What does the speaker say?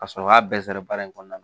Ka sɔrɔ k'a bɛɛ sɔrɔ baara in kɔnɔna na